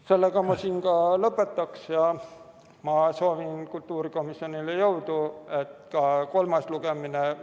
Sellega ma lõpetaksin ja ma soovin kultuurikomisjonile jõudu!